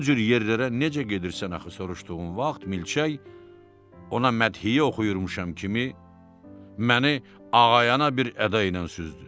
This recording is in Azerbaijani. O cür yerlərə necə gedirsən axı, soruşduğum vaxt milçək ona mədhiyə oxuyurmuşam kimi məni ağayana bir əda ilə süzdü.